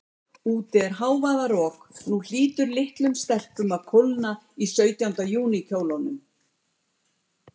Úti er hávaðarok, og nú hlýtur litlum stelpum að kólna í sautjánda júní kjólunum.